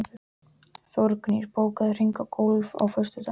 Þórgnýr, bókaðu hring í golf á föstudaginn.